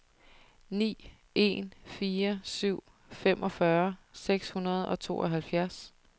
ni en fire syv femogfyrre seks hundrede og tooghalvfjerds